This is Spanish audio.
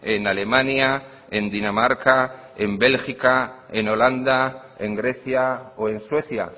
en alemania en dinamarca en bélgica en holanda en grecia o en suecia